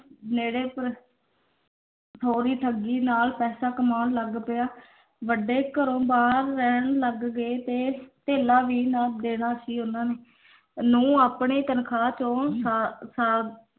ਠੋਰੀ ਠੱਗੀ ਨਾਲ ਪੈਸਾ ਕਮਾਉਣ ਲੱਗ ਪਿਆ ਵੱਡੇ ਘਰੋਂ ਬਾਹਰ ਰਹਿਣ ਲੱਗ ਗਏ ਤੇ ਧੇਲਾ ਵੀ ਨਾ ਦੇਣਾ ਸੀ ਉਨਾਂ ਨੇ ਨੂੰਹ ਆਪਣੇ ਤਨਖਾਹ ਚੋਂ